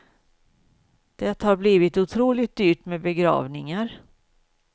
Det har blivit otroligt dyrt med begravningar.